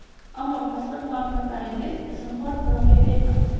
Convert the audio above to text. ammo pasport ma’lumotlaringiz zinhor birovlarga bermang.